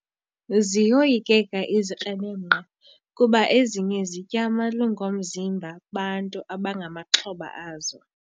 Ziyoyikeka izikrelemnqa kuba ezinye zitya amalungu omzimba bantu abangamaxhoba azo.